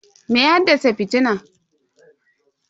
Me ya haddasa fitinan?